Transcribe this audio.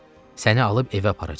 Səni alıb evə aparacam.